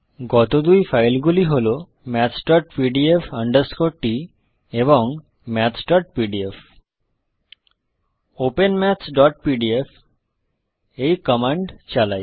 গত দুই ফাইলগুলি হল mathspdf t এবং mathsপিডিএফ ওপেন mathsপিডিএফ এই কমান্ড চালাই